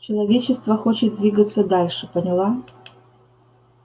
человечество хочет двигаться дальше поняла